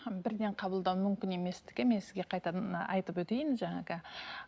бірден қабылдау мүмкін еместігін мен сізге қайтадан айтып өтейін жаңағы